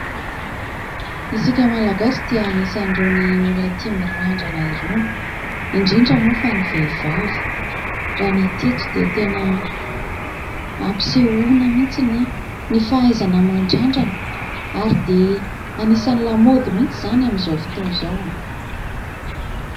Isika Malagasy dia anisan'irony olona tia mirandrana irony, indrindra moa fa ny vehivavy. Raha ny hita eto dia tena ampisehoana mihitsy ny fahaizana mandrandrana ary dia anisan'ny lamaody mihitsy izany amin'izao fotoana izao.